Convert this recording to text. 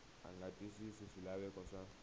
a nga twisisi swilaveko swa